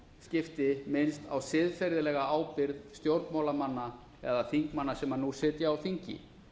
skipti minnst á siðferðilega ábyrgð stjórnmálamanna eða þingmanna sem nú sitja á þingi